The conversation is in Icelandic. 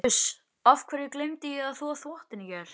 Uss. af hverju gleymdi ég að þvo þvottinn í gær?